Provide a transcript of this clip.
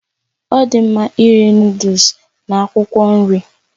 Ọ dị mma iri Nụ́dúls na akwụkwọ nri